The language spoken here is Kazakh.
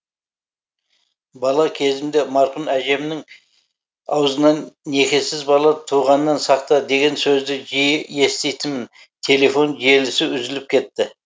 бала кезімде марқұм әжемнің аузынан некесіз бала туғаннан сақта деген сөзді жиі еститінмін телефон желісі үзіліп кетті